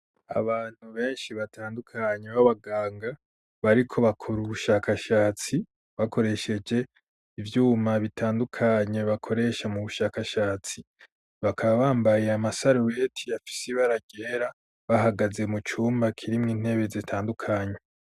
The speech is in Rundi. Abantu benshi batandukanye b'abaganga bariko bakora ubushakashatsi bakoresheje ivyuma bitandukanye bakoresha mu bushakashatsi bakaba bambaye amasaruweti afisi ibara ryera bahagaze mu cumba kirimwo intebe zitandukanye.